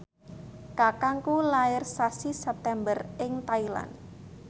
kakangku lair sasi September ing Thailand